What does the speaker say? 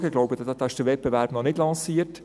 ich glaube, der Wettbewerb ist noch nicht lanciert.